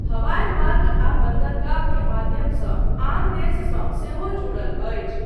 हवाई मार्ग आ बन्दरगाह के माध्यमसँ आन देशसँ सेहो जुड़ल अछि।